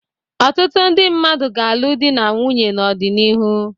Ọtụtụ ndị mmadụ ga-alụ di na nwunye n'ọdịnihu.